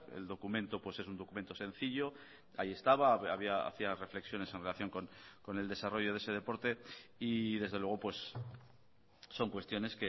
el documento pues es un documento sencillo ahí estaba hacía reflexiones en relación con el desarrollo de ese deporte y desde luego son cuestiones